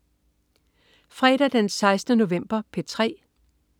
Fredag den 16. november - P3: